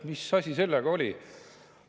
Mis asi sellega oli?